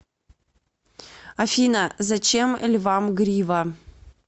афина зачем львам грива